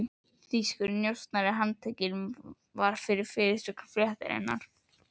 Þýskur njósnari handtekinn, var fyrirsögn fréttarinnar.